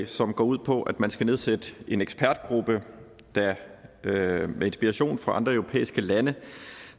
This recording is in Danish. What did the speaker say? som går ud på at man skal nedsætte en ekspertgruppe der med inspiration fra andre europæiske lande